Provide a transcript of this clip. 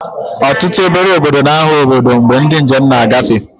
Ọtụtụ obere obodo ga-aghọ obodo mgbe ndị njem na-agafe